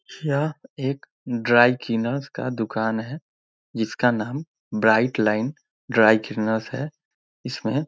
यह एक dry cleaner का दुकान है जिसका नाम ब्राइट लाइन ड्राई क्लीनरस है इसमे --